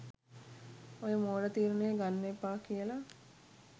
ඔය මෝඩ තීරණය ගන්න එපා කියලා..